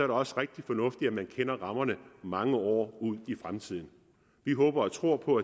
det også rigtig fornuftigt at man kender rammerne mange år frem i tiden vi håber og tror på